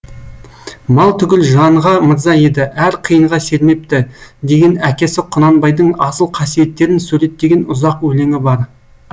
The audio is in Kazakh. мал түгіл жанға мырза еді әр қиынға сермепті деген әкесі құнанбайдың асыл қасиеттерін суреттеген ұзақ өлеңі бар